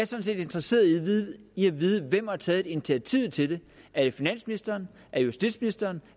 set interesseret i at vide hvem der har taget initiativet til det er det finansministeren er det justitsministeren